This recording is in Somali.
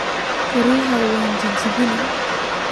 Koryaxa wan jajabini.